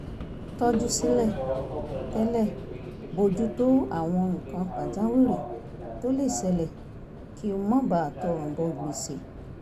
tọ́jú sílẹ̀ tẹ́lẹ̀ bójú tó àwọn nǹkan pàjáwìrì tó lè ṣẹlẹ̀ kí n má bàa tọrùn bọ gbèsè